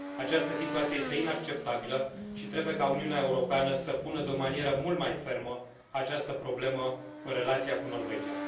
Această situație este inacceptabilă și trebuie ca Uniunea Europeană să pună de o manieră mult mai fermă această problemă în relația cu Norvegia.